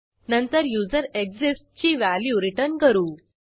नंतर युझरेक्सिस्ट्स ची value return करू